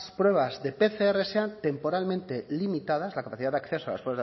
pruebas de pcr sean temporalmente limitadas la capacidad de acceso a las